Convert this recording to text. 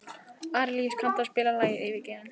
Arilíus, kanntu að spila lagið „Yfirgefinn“?